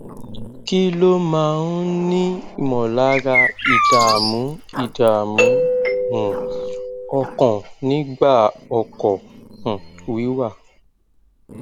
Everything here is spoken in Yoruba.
kí ló máa ń ni imolara ìdààmú ìdààmú um ọkàn nigba okọ um wiwa